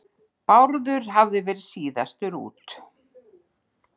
Bárður hafði verið síðastur út.